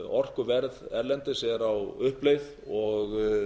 orkuverð erlendis er á uppleið og